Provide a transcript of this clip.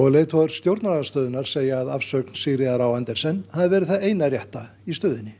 leiðtogar stjórnarandstöðunnar segja að afsögn Sigríðar Andersen hafi verið það eina rétta í stöðunni